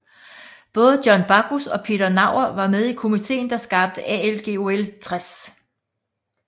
Både John Backus og Peter Naur var med i komiteen der skabte ALGOL 60